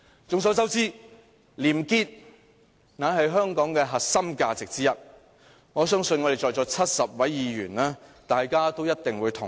眾所周知，廉潔是香港的核心價值之一，我相信在座的70位議員一定會同意。